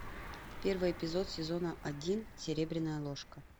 первый эпизод сезона один серебряная ложка